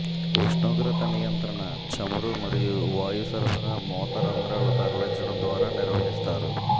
ఉష్ణోగ్రత నియంత్రణ చమురు మరియు వాయు సరఫరా మూత రంధ్రాలు తరలించడం ద్వారా నిర్వహిస్తారు